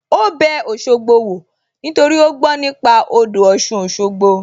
Ó bẹ Òṣogbo wò nítorí ó gbó nípa nípa odò Ọ̀sun Òṣogbo